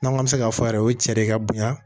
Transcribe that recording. N'an k'an bɛ se k'a fɔ yɛrɛ o cɛ de ka bon yan